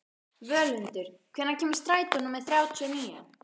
Völundur, hvenær kemur strætó númer þrjátíu og níu?